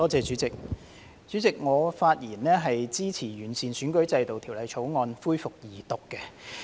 主席，我發言支持《2021年完善選舉制度條例草案》恢復二讀辯論。